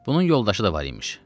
Bunun yoldaşı da var imiş.